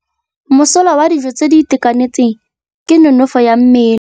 Mosola wa dijô tse di itekanetseng ke nonôfô ya mmele.